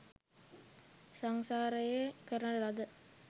සංසාරයේ කරන ලද